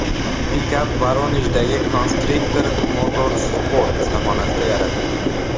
Pikap Voronejdagi Constrictor Motorsport ustaxonasida yaratilgan.